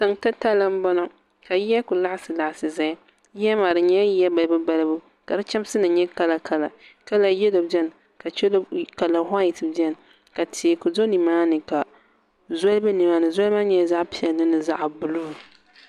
tiŋ titali n bɔŋɔ ka yiya ku laɣasi laɣasi ʒɛya yiya maa di nyɛla yiya balibu balibu ka di chɛmsi nim nyɛ kala kala kala yɛlo biɛni kala whait biɛni ka teeku do nimaani ka zoli bɛ nimaani zoli maa nyɛla zaɣ piɛlli ni zaɣ buluu